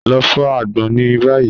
Lọ fọ agbon ni bayi.